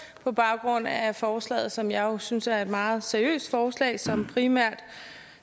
på baggrund af forslaget som jeg jo synes er et meget seriøst forslag som primært